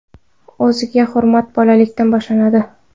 O‘ziga hurmat bolalikdan boshlanadi.